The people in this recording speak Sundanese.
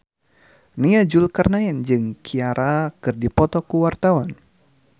Nia Zulkarnaen jeung Ciara keur dipoto ku wartawan